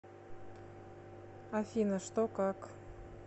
афина что как